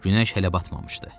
Günəş hələ batmamışdı.